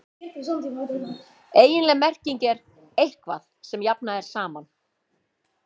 eiginleg merking er „eitthvað sem jafnað er saman“